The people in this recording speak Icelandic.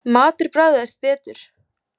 Matur bragðaðist betur.